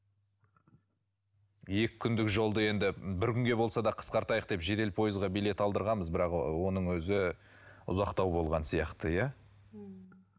екі күндік жолды енді бір күнге болса да қысқартайық деп жедел пойызға билет алдырғанбыз бірақ ы оның өзі ұзақтау болған сияқты иә